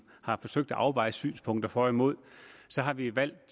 har forsøgt at afveje synspunkterne for og imod har vi valgt